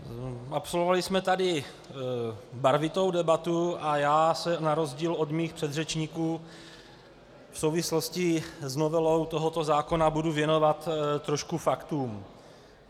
Absolvovali jsme tady barvitou debatu a já se na rozdíl od mých předřečníků v souvislosti s novelou tohoto zákona budu věnovat trošku faktům.